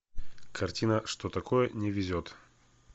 картина что такое не везет